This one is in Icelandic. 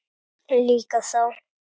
Líka þá.